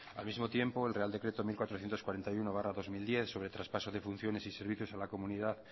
al mismo tiempo el real decreto mil cuatrocientos cuarenta y uno barra dos mil diez sobre traspaso de funciones y servicios a la comunidad